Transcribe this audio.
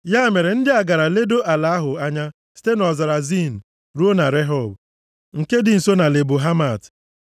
Ya mere ndị a gara ledoo ala ahụ anya site nʼọzara Zin ruo na Rehob, nke dị nso na Lebo Hamat.